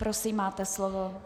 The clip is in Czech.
Prosím, máte slovo.